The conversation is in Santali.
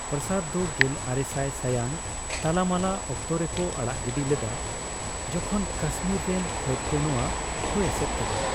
ᱯᱨᱟᱥᱟᱫᱽ ᱫᱚ ᱜᱮᱞᱟᱨᱮᱥᱟᱭ ᱥᱟᱭᱟᱝ ᱛᱟᱞᱟᱢᱟᱞᱟ ᱚᱠᱛᱚ ᱨᱮ ᱠᱚ ᱟᱲᱟᱜ ᱜᱤᱰᱤ ᱞᱮᱫᱼᱟ ᱡᱮᱠᱷᱚᱱ ᱠᱟᱥᱢᱤᱨ ᱨᱮᱱ ᱯᱷᱟᱹᱫ ᱱᱚᱣᱟ ᱠᱚ ᱮᱥᱮᱫ ᱠᱮᱫᱟ ᱾